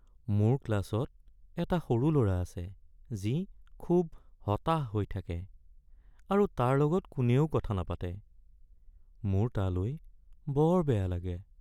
মোৰ ক্লাছত এটা সৰু ল'ৰা আছে যি খুব হতাশ হৈ থাকে আৰু তাৰ লগত কোনেও কথা নাপাতে। মোৰ তালৈ বৰ বেয়া লাগে।